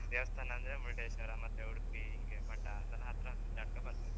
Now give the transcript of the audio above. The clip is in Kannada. ದೇವಸ್ಥಾನ ಅಂದ್ರೆ ಮರುಡೇಶ್ವರ ಮತ್ತೆ ಉಡುಪಿ ಹೀಗೆ ಮಠ ಅದೆಲ್ಲ ಹತ್ರ ಬರ್ತದೆ.